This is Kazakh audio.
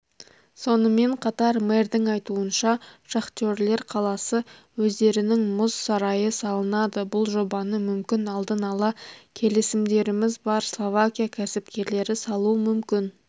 сонымен қатар мэрдің айтуынша шахтерлер қаласы өздерінің мұз сарайы салынады бұл жобаны мүмкін алдын-ала келісімдеріміз бар словакия кәсіпкерлері салуы мүмкін